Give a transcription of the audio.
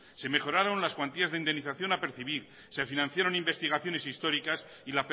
se mejoraron las cuantías de indemnización a percibir se financiaron investigaciones históricas y